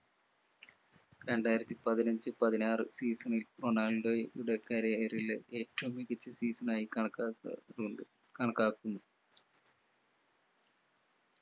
രണ്ടായിരത്തി പതിനഞ്ച് പതിനാറു season ൽ റൊണാൾഡോയെ യുടെ career ലെ ഏറ്റവും മികച്ച season ആയി കണക്കാക്ക ന്നുണ്ട് കണക്കാക്കുന്നു